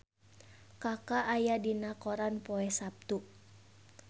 Kaka aya dina koran poe Saptu